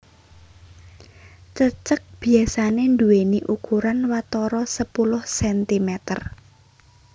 Cecek biasané nduwèni ukuran watara sepuluh sentimeter